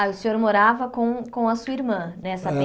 Ah, o senhor morava com com a sua irmã, nessa